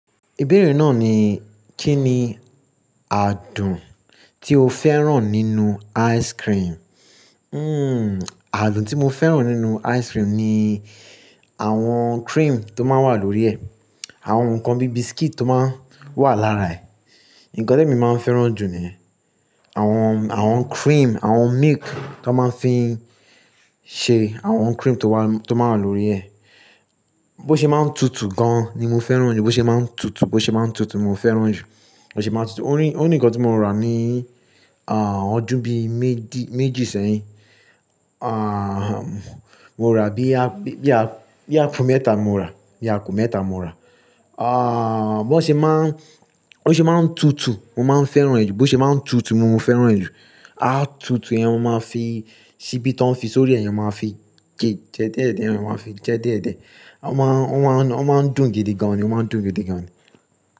Ìbéèrè náà ni kí ni adùn tí o fẹ́ràn nínú ice cream? Hmm, adùn tí mo fẹ́ràn nínú ice cream ni àwọn cream tó máa ń wà lórí ẹ, àwọn nǹkan bí biscuit tó máa ń wà lára ẹ̀. Nǹkan tèmi máa ń fẹ́ràn jù niyen àwọn, àwọn cream, àwọn milk tó máa ń fi ń ṣe, àwọn cream tó wà, tó máa wà lórí ẹ. Bó ṣe máa ń tutù gan ni mo fẹ́ràn jù, bó ṣe máa ń tutù, bó ṣe máa ń tutù mo fẹ́ràn jù, bó ṣe máa ń tutù. Ó ní, ikan tí mo rà ní, ah, ọdún bí méjì, méjì sẹ́yìn. Ah, mo rà bí ápo mẹ́ta mo rà, apo mẹ́ta mo rà. Ah, bó ṣe máa ń, bó ṣe máa ń tutù mo máa ń fẹ́ràn ju, bó ṣe máa ń tutù mo máa ń fẹ́ràn è ju Á tutù ẹ́, mo máa fi ṣíbí tí wọ́n fi sórí ẹ, mo máa fi jẹ, jẹ diediẹ́, wọn máa fi jẹ diediẹ́. Wọ́n máa, wọ́n máa ń dùn gidi gan ni, wọ́n máa ń dùn gidi gan ni.